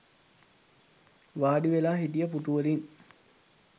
වාඩි වෙලා හිටිය පුටුවලින්